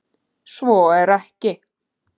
Svo er ekki